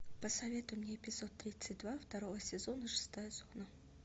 посоветуй мне эпизод тридцать два второго сезона шестая зона